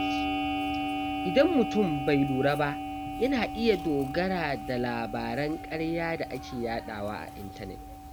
Idan mutum bai lura ba, yana iya dogara da labaran ƙarya da ake yadawa a intanet.